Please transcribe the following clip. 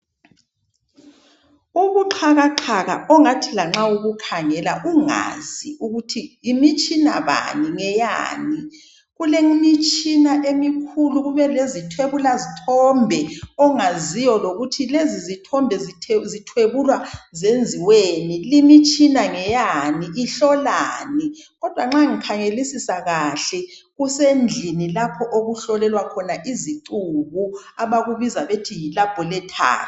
Ubuxhakaxhaka, ongathi lanxa ubukhangela, ungazi ukuthi yimitshina bani. Ngeyani? Kulemitshina emikhulu. Kube lezithwebula zithombe. Ongaziyo lokuthi lezizithombe zithwebulwa zenziweni? Lemitshina ngeyani? Ihlolani? Kodwa nxa ngikhangelisisa kuhle, kusendlini lapho abahlolela khona izicubu. Abakubiza ngokuthi yilabholethari.